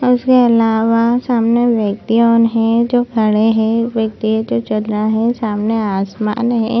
और उसके अलावा सामने व्यक्ति उन लोग है जो खड़े है एक व्यक्ति जो है चल रहा है सामने आसमान है।